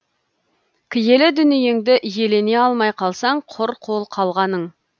киелі дүниеңді иелене алмай қалсаң құр қол қалғаның